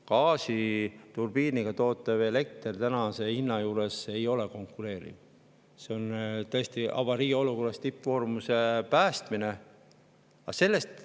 Gaasiturbiiniga toodetav elekter ei ole tänase hinnaga konkureeriv, see on tõesti päästmiseks avariiolukorras, tippkoormuse.